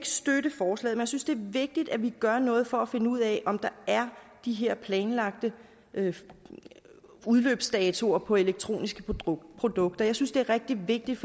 støtte forslaget men jeg synes det er vigtigt at vi gør noget for at finde ud af om der er de her planlagte udløbsdatoer på elektroniske produkter jeg synes det er rigtig vigtigt